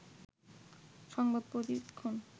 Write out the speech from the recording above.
সংবাদ প্রতিক্ষণ